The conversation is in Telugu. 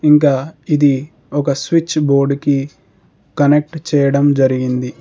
ఇంకా ఇది ఒక స్విచ్ బోర్డుకి కనెక్ట్ చేయడం జరిగింది.